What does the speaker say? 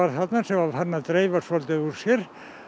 þarna sem var farin að dreifa svolítið úr sér